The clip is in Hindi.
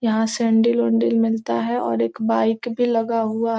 यहाँ सैंडिल - ओंडील मिलता है और एक बाइक भी लगा हुआ --